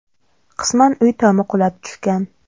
Qisman uy tomi qulab tushgan.